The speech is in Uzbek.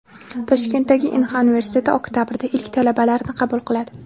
Toshkentdagi Inha universiteti oktabrda ilk talabalarini qabul qiladi.